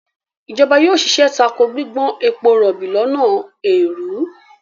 ìjọba yóò ṣiṣẹ́ tako gbígbọ́n ebo rọ̀bì lọ́nà èèrú.